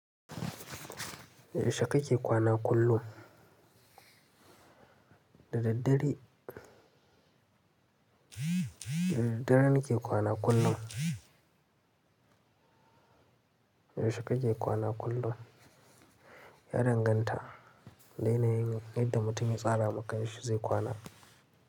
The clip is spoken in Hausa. Yaushe kake kwana kullum? Da daddare. Da daddare nake kwana kullum. Yaushe kake kwana kullum? Ya danganta, da yanayin inda mutum ya tsara makanshi zai kwana.